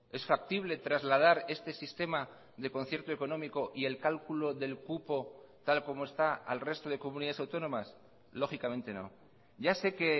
es factible trasladar este sistema de concierto económico y el cálculo del cupo tal como está al resto de comunidades autónomas lógicamente no ya sé que